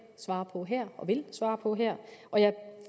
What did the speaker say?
svare på her og vil svare på her og jeg